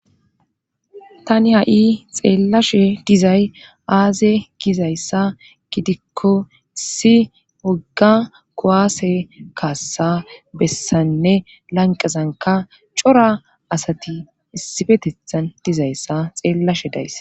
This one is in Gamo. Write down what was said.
tani ha7i xeellashe dizay aaze gizayssa gidikko issi wogga kowaase kaassa bessanne lanqazanka cora asati issifetethan dizayssa xeellashe dayss